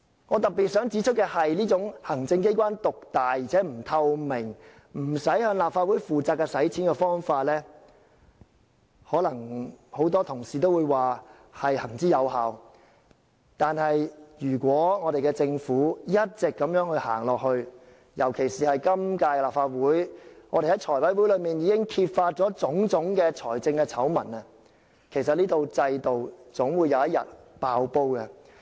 我特別想指出的是，這種行政機關獨大且不透明，不用向立法會負責的用錢方法，可能很多同事會說是行之有效，但如果政府一直如此走下去，尤其是我們在今屆立法會財務委員會上已揭發種種財政醜聞，這套制度有一天總會"爆煲"。